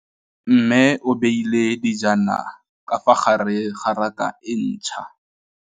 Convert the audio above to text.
Mmê o beile dijana ka fa gare ga raka e ntšha.